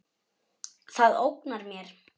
Það ógnar mér.